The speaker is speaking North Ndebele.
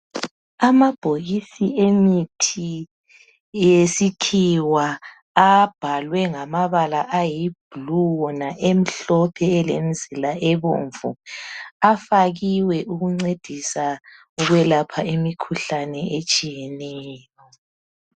Amabhokisi emithi yesikhiwa abhalwe ngamabala ayibhulu wona emhlophe elemizila ebomvu. Afakiwe ukuncedisa ukwelapha imikhuhlane etshiyeneyo.